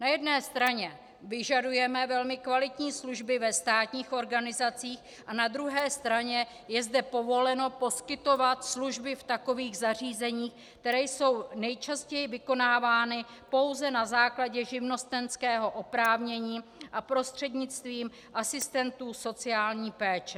Na jedné straně vyžadujeme velmi kvalitní služby ve státních organizacích, a na druhé straně je zde povoleno poskytovat služby v takových zařízeních, které jsou nejčastěji vykonávány pouze na základě živnostenského oprávnění a prostřednictvím asistentů sociální péče.